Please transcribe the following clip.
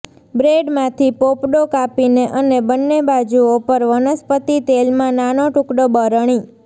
બ્રેડમાંથી પોપડો કાપીને અને બન્ને બાજુઓ પર વનસ્પતિ તેલમાં નાનો ટુકડો બરણી